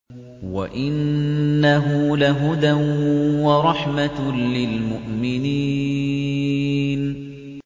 وَإِنَّهُ لَهُدًى وَرَحْمَةٌ لِّلْمُؤْمِنِينَ